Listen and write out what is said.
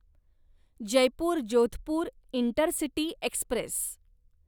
Jaipur Jodhpur intercity Express